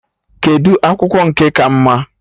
Kedụ akwụkwọ nke ka mma?